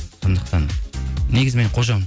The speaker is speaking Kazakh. сондықтан негізі мен қожамын